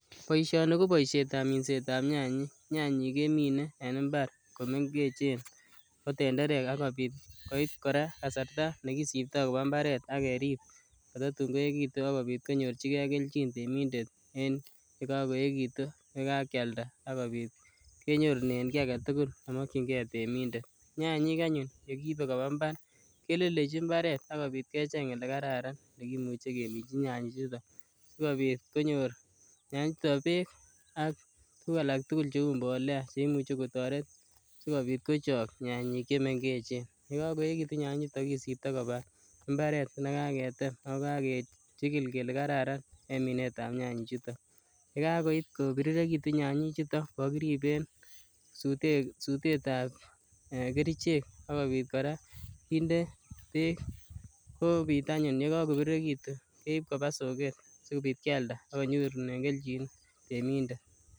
Boisioni ko boisiet ab minsetab nyanyik, nyanyik kemine en mbar komengechen kotenderek akobit koit kora kasarta nekisiptoo koba mbaret akerip kotatun koeekitun akonyorchigee kelchin temindet en yekakoeekitun yekakialda akobit kenyorunen kiy aketugul nemokyingee temindet. Nyanyik anyun yekiibe koba mbar kelelechi mbaret akobit kecheng yekararan yekimuche keminji nyanyik chuton sikobit konyor nyanyik chuton beek ak tuguk alak tugul cheu mbole cheimuchi kotoret sikobit kochok nyanyik chemengechen yekakoeekitun nyanyik chuton kisipto koba mbaret nekaketem ako kakechigil kele kararan en minet ab tuguk chuton. Yekait kobirirekitu nyanyik chuton kokiribeen sutet ab kerichek akobit kora kinde beek kobit anyun yekabirirekitun keib koba soket sikobit kialda akonyorunen kelchin temindet